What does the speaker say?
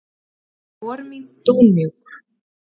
Spor mín dúnmjúk.